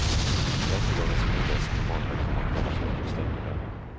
Rättegången som inleds på måndag kommer att hållas bakom stängda dörrar.